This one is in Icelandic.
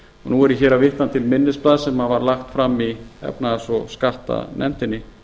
nú er ég hér að vitna til minnisblaðs sem var lagt fram í efnahags og skattanefndinni